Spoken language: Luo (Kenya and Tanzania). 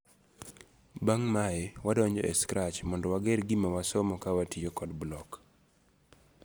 Bang' mae, wadonjo e Scratch mondo wager gima wasomo ka watiyo kod Block.